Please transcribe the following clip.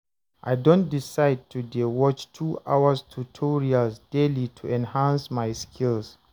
I don decide to dey watch 2 hours tutorials daily to enhance my skills